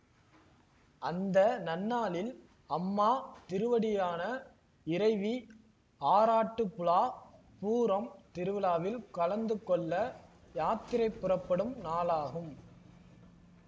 அந்த நன்னாளில் அம்மா திருவடியான இறைவி ஆராட்டுபுழா பூரம் திருவிழாவில் கலந்துகொள்ள யாத்திரை புறப்படும் நாளாகும்